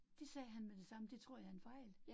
Det sagde han med det samme, det tror jeg er en fejl